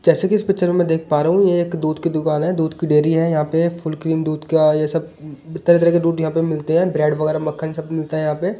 जैसे कि इस पिक्चर में देख पा रहा हूं एक दूध की दुकान है दूध की डेरी है यहां पे फुल क्रीम दूध का ये सब तरह तरह के दूध यहां पे मिलते हैं ब्रेड वगैरा मक्खन सब मिलता है यहां पे--